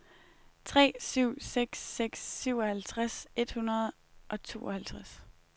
tre syv seks seks syvoghalvtreds et hundrede og tooghalvtreds